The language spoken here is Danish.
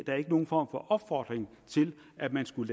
nogen form for opfordring til at man skulle